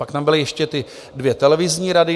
Pak tam byly ještě ty dvě televizní rady.